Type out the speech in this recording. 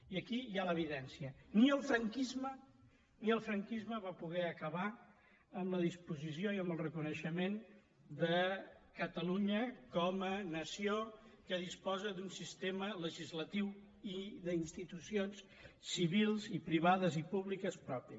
i aquí hi ha l’evidència ni el franquisme ni el franquisme va poder acabar amb la disposició i amb el reconeixement de catalunya com a nació que disposa d’un sistema legislatiu i d’institucions civils i privades i públiques propi